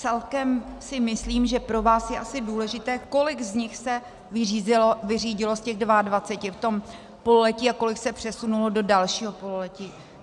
Celkem si myslím, že pro vás je asi důležité, kolik z nich se vyřídilo z těch 22 v tom pololetí a kolik se přesunulo do dalšího pololetí.